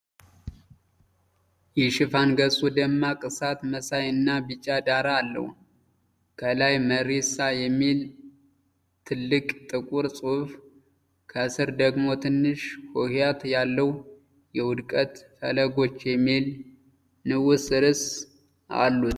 የሽፋን ገጹ ደማቅ እሳት መሳይ እና ቢጫ ዳራ አለው። ከላይ "መሪሳ" የሚል ትልቅ ጥቁር ጽሑፍ፣ ከስር ደግሞ ትንሽ ሆሄያት ያለው "የውድቀት ፈለጎች" የሚል ንዑስ ርዕስ አሉት።